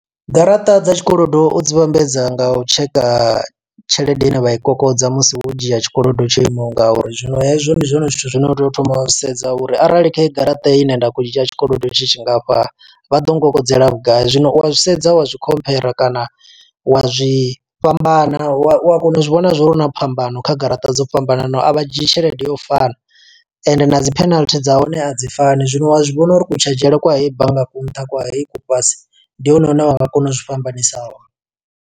Garaṱa dza tshikolodo u dzi vhambedza nga u tsheka tshelede ine vha i kokodza musi wo dzhia tshikolodo tsho imaho nga uri. Zwino hezwo ndi zwone zwithu zwine wa tea u thoma wa sedza uri arali khaheyi garaṱa ine nda khou dzhia tshikolodo, tshi tshingafha. Vha ḓo mukokodzela vhugai? Zwino u a zwi sedza wa zwi khomphera kana wa zwi fhambana wa kona u zwi vhona zwo uri hu na phambano kha garaṱa dzo fhambananaho. A vha dzhii tshelede yo fana, ende na dzi penalty dza hone a dzi fani. Zwino wa zwi vhona uri kutshilele kwa heyi bannga ku nṱha, kwa heyi ku fhasi. Ndi hone hune wa nga kona uzwi fhambanisa hone.